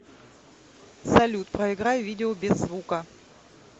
салют проиграй видео без звука